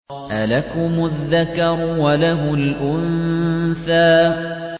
أَلَكُمُ الذَّكَرُ وَلَهُ الْأُنثَىٰ